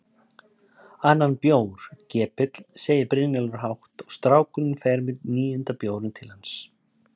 Annan bjór, gepill, segir Brynjólfur hátt og strákurinn fer með níunda bjórinn til hans.